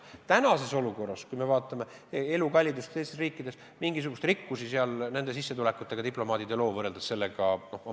Praeguses olukorras, kui me vaatame elukallidust teistes riikides, on selge, et mingisugust rikkust diplomaadid oma sissetulekutega ei loo.